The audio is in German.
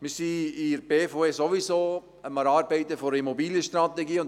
Wir sind seitens der BVE sowieso dabei, eine Immobilienstrategie zu erarbeiten.